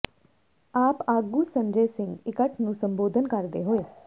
ਆਪ ਆਗੂ ਸੰਜੈ ਸਿੰਘ ਇਕੱਠ ਨੂੰ ਸੰਬੋਧਨ ਕਰਦੇ ਹੋਏ